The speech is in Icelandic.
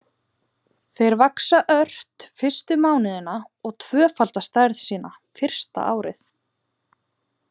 Þeir vaxa ört fyrstu mánuðina og tvöfalda stærð sína fyrsta árið.